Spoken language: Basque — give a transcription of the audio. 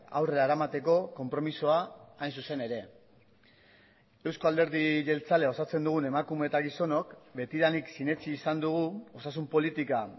aurrera eramateko konpromisoa hain zuzen ere euzko alderdi jeltzalea osatzen dugun emakume eta gizonok betidanik sinetsi izan dugu osasun politika